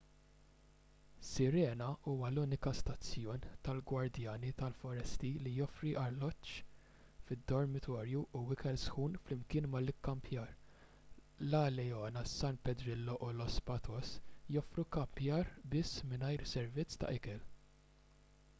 sirena huwa l-uniku stazzjon tal-gwardjani tal-foresti li joffri alloġġ fid-dormitorju u ikel sħun flimkien mal-ikkampjar la leona san pedrillo u los patos joffru kkampjar biss mingħajr servizz ta' ikel